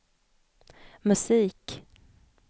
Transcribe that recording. musik